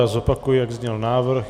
Já zopakuji, jak zněl návrh.